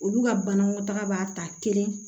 Olu ka banakɔtaga b'a ta kelen